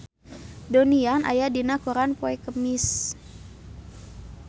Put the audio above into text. Donnie Yan aya dina koran poe Kemis